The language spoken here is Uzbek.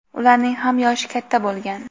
ularning ham yoshi katta bo‘lgan.